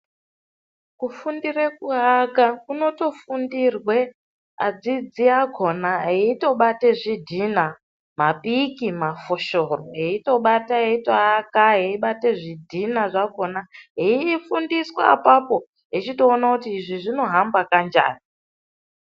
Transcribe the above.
Kufundire kuaka kunotofundirwe adzidzi akona aitobate zvidhina, mapiki, mafoshoro aitobata aito aka, aibata zvidhina zvakona eifundiswa apapo eitoona kuti izvi zvinohamba kanjani.